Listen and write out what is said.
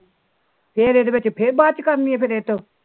ਫਿਰ ਇਹਦੇ ਵਿੱਚ ਫਿਰ ਬਾਅਦ ਚੋ ਕਰਨੀ ਇਹਤੋਂ